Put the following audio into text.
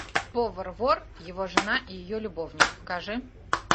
повар вор его жена и ее любовник покажи